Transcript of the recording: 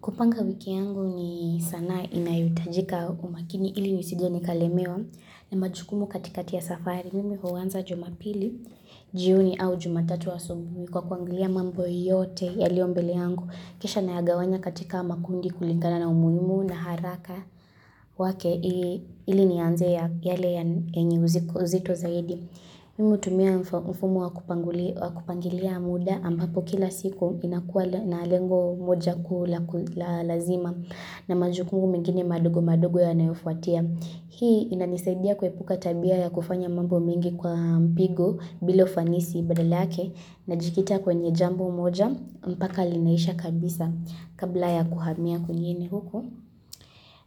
Kupanga wiki yangu ni sanaa inayohitajika umakini ili nisije nikalemewa na majukumu katikati ya safari nimi huanza jumapili, jioni au jumatatu asubuhi kwa kuangilia mambo yote yayoliombele yangu. Kisha nayagawanya katika makundi kulingana na umuhimu na haraka wake ili ni anze ya yale yenye uzito zaidi. Mimi hutumia mfumo wa kupangilia muda ambapo kila siku inakua na lengo moja kuu la lazima na majukumu mengine madogo madogo yanayofuatia. Hii inanisaidia kuepuka tabia ya kufanya mambo mengi kwa mpigo bila ufanisi badala yake najikita kwenye jambo moja mpaka linaisha kabisa kabla ya kuhamia kwengine huko.